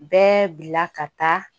Bɛɛ bila ka taa